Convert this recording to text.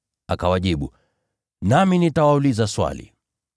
Akawajibu, “Nami nitawauliza swali.